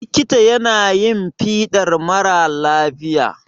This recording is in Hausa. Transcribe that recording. likita yana yin fiɗar mara lafiya